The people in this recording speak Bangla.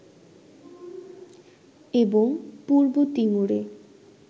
এবং পূর্ব তিমুরে